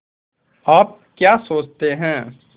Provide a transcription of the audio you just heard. आप क्या सोचते हैं